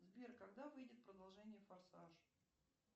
сбер когда выйдет продолжение форсаж